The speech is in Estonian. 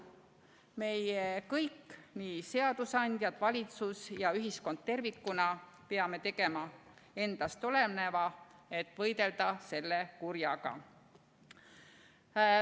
Meie kõik, nii seadusandjad, valitsus kui ka ühiskond tervikuna peame tegema endast oleneva, et võidelda selle kurjaga.